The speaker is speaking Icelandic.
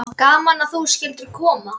Gaman að þú skyldir koma.